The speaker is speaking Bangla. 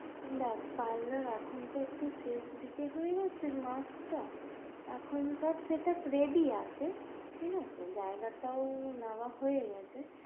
দেখ parlour এখন তো একটু শেষ দিকে হয়ে গেছে মাস টা, এখন সব set up ready আছে ঠিক আছে জায়গা টাও নেওয়া হয়ে গেছে,